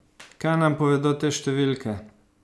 Kaj nam povedo te številke?